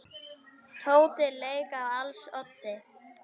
Tóti lék á als oddi.